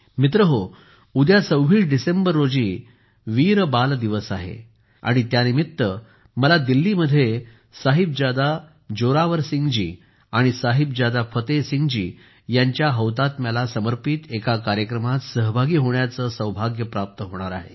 मित्रहो उद्या 26 डिसेंबर रोजी वीर बाल दिवस आहे आणि त्यानिमित्त मला दिल्लीमध्ये साहिबजादा जोरावर सिंह जी आणि साहिबजादा फतेह सिंह जी यांच्या हौतात्म्याला समर्पित एका कार्यक्रमात सहभागी होण्याचे सौभाग्य प्राप्त होणार आहे